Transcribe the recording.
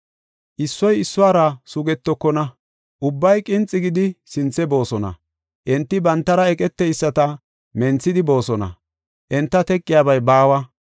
Issoy issuwara sugetokona; ubbay qinxi gidi sinthe boosona. Enti bantara eqeteyisata menthidi boosona; enta teqiyabay baawa.